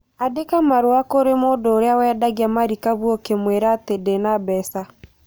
Andĩka marũa kũrĩ mũndũ ũrĩa wendagia marikabu ũkĩmwĩra atĩ ndĩna mbeca